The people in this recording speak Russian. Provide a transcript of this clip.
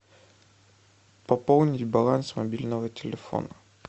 пополнить баланс мобильного телефона